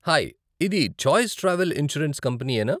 Hi, ఇది choice travel insurance కంపనీయేనా ?